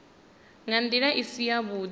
nga ndila i si yavhudi